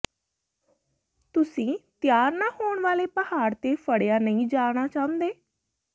ਤੁਸੀਂ ਤਿਆਰ ਨਾ ਹੋਣ ਵਾਲੇ ਪਹਾੜ ਤੇ ਫੜਿਆ ਨਹੀਂ ਜਾਣਾ ਚਾਹੁੰਦੇ